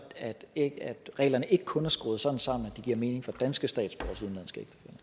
at reglerne ikke kun er skruet sådan sammen at de giver mening for danske statsborgeres udenlandske